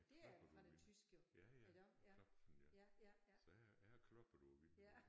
Jeg klopper på vinduet ja ja klopfen ja så jeg jeg har kloppet på vinduet